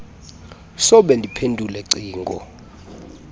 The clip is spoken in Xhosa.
sobe ndiphendule cingo